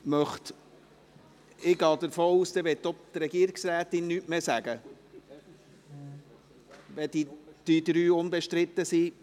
Ich gehe davon aus, dass auch die Regierungsrätin nichts mehr sagen will, wenn die drei Geschäfte unbestritten sind.